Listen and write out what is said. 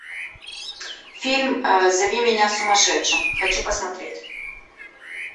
фильм зови меня сумасшедшим хочу посмотреть